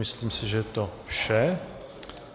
Myslím si, že je to vše.